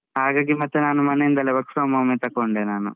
ಹಾಗಾಗಿ ಮತ್ತೆ ನಾನು ಮನೆ ಇಂದಲೆ work from home ಏ ತೊಕೊಂಡೆ ನಾನು.